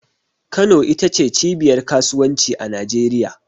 Kano ita ce cibiyar kasuwanci a Najeriya.